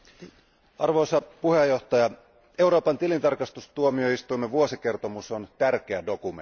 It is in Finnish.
Arvoisa puhemies, Euroopan tilintarkastustuomioistuimen vuosikertomus on tärkeä dokumentti.